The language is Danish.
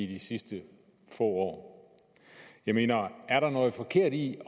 de sidste få år jeg mener er der noget forkert i